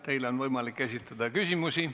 Teile on võimalik esitada küsimusi.